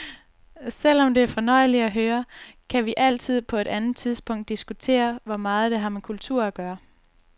Selv om det er fornøjeligt at høre, kan vi altid på et andet tidspunkt diskutere, hvor meget det har med kultur at gøre.